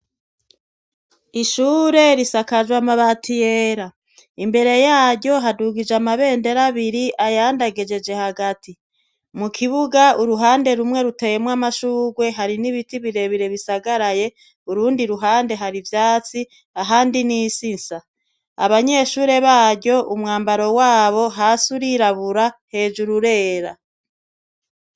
Ishure risakajwe amabati yera imbere yaryo hadugijwe amabendera abiri ayandi agejejwe hagati mukibuga muruhande rumwe ruteyemwo amashurwe hari nibiti birebire bisagaye urundi ruhande hari ivyatsi ahandi nisi insa abanyeshure baryo umwambaro wabo hasi urirabura hejuru urera